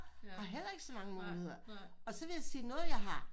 Har heller ikke så mange muligheder og så vil jeg sige noget jeg har